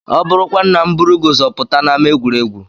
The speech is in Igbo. Ọ bụrụkwanụ na m buru gị ụzọ pụta n'ámá egwuregwu?